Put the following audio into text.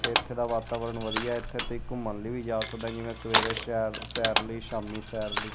ਤੇ ਇਥੇ ਦਾ ਵਾਤਾਵਰਨ ਵਧੀਆ ਇਥੇ ਤੁਸੀਂ ਘੁੰਮਣ ਲਈ ਵੀ ਜਾ ਸਕਦਾ ਜਿਵੇਂ ਸ਼ਹਿਰ ਸਵੇਰੇ ਸੈਰ ਲਈ ਸ਼ਾਮੀ ਸੈਰ ਲਈ।